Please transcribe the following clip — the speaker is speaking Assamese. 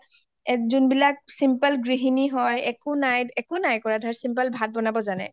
এই যোনবিলাক simple গৃহিনী হয় একো নাই , একো নাই কৰা simple ভাত বনাব জানে